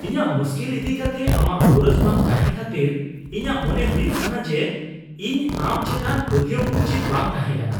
ᱤᱧᱟᱹᱜ ᱢᱩᱥᱠᱤᱞ ᱤᱫᱤ ᱠᱟᱛᱮ ᱟᱢᱟᱜ ᱜᱚᱨᱚᱡ ᱵᱟᱝ ᱛᱟᱸᱦᱮ ᱠᱷᱟᱹᱛᱤᱨ ᱤᱧᱟᱜ ᱢᱚᱱᱮ ᱦᱩᱭᱩᱜ ᱠᱟᱱᱟ ᱡᱮ, ᱤᱧ ᱟᱢ ᱪᱮᱛᱟᱱ ᱯᱟᱹᱛᱭᱟᱹᱣ ᱩᱪᱤᱛ ᱵᱟᱝ ᱛᱟᱦᱮᱸᱠᱟᱱᱟ ᱾